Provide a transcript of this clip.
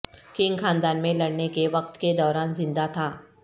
Qing خاندان میں لڑنے کے وقت کے دوران زندہ تھا